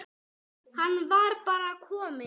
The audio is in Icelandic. Hann var bara kominn.